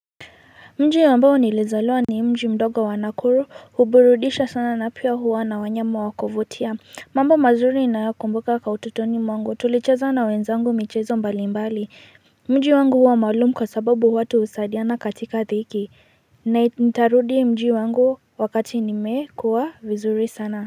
Mji ambao nilizaliwa ni mji mdogo wa Nakuru huburudisha sana na pia huwa na wanyama wa kuvutia. Mambo mazuri ninayakumbuka kwa utotoni mwangu, tulicheza na wenzangu michezo mbalimbali mji wangu huwa maalum kwa sababu watu husadiana katika dhiki na nitarudi mji wangu wakati nimekuwa vizuri sana.